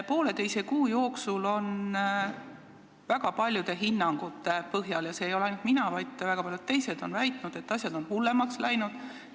Poolteise kuu jooksul on väga paljude hinnangute põhjal – ja seda ei väida ainult mina, vaid ka väga paljud teised on seda väitnud – asjad hullemaks läinud.